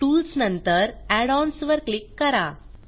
tools नंतर add ons वर click करा